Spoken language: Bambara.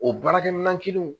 O baarakɛminɛn kelen